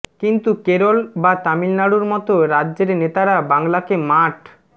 কিন্তু কেরল বা তামিলনাড়ুর মতো রাজ্যের নেতারা বাংলাকে মাঠ